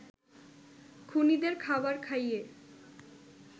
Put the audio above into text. খুনীদের খাবার খাইয়ে